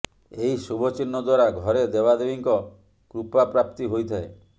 ଏହି ଶୁଭ ଚିହ୍ନ ଦ୍ବାରା ଘରେ ଦେବାଦେବୀଙ୍କ କୃପା ପ୍ରାପ୍ତି ହୋଇଥାଏ